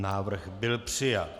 Návrh byl přijat.